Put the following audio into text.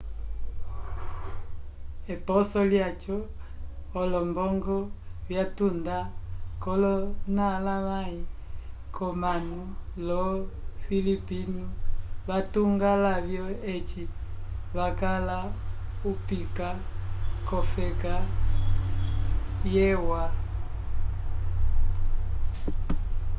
eposo lyaco olombongo vyatuda kolonalavay comanu yo filipinno vatunga lavyo eci vacala upika kofeka e u a